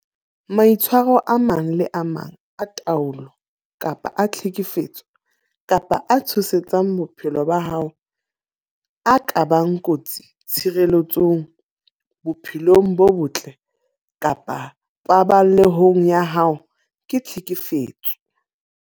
Maitshwaro a mang le a mang a taolo kapa a tlhekefetso kapa a tshosetsang bophelo ba hao a ka bakang kotsi tshireletsehong, bophelong bo botle kapa paballehong ya hao ke tlhekefetso.